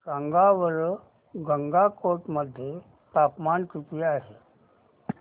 सांगा बरं गंगटोक मध्ये तापमान किती आहे